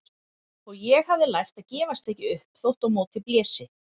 Og ég hafði lært að gefast ekki upp þótt á móti blési.